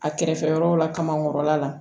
A kɛrɛfɛ yɔrɔw la kamankɔrɔla la